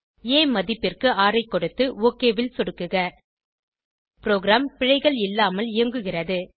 ஆ மதிப்பிற்கு 6 ஐ கொடுத்து ஒக் ல் சொடுக்குக ப்ரோகிராம் பிழைகள் இல்லாமல் இயங்குகிறது